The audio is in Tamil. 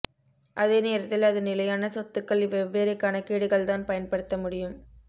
அதே நேரத்தில் அது நிலையான சொத்துக்கள் வெவ்வேறு கணக்கீடுகள்தான் பயன்படுத்த முடியும்